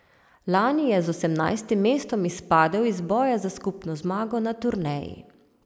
Lani je z osemnajstim mestom izpadel iz boja za skupno zmago na turneji.